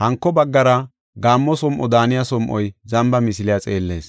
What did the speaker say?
hanko baggara gaammo som7o daaniya som7oy zamba misiliya xeellees.